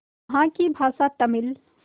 यहाँ की भाषा तमिल